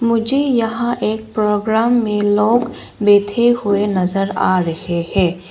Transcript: मुझे यहां एक प्रोग्राम में लोग बैठे हुए नजर आ रहे है।